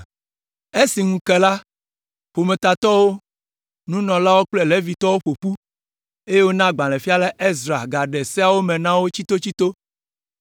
Esi ŋu ke la, ƒometatɔwo, nunɔlawo kple Levitɔwo ƒo ƒu, eye wona agbalẽfiala Ezra gaɖe Seawo me na wo tsitotsito.